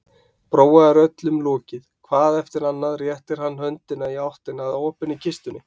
Bróa er öllum lokið, hvað eftir annað réttir hann höndina í áttina að opinni kistunni.